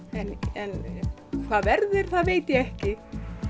en hvað verður veit ég ekki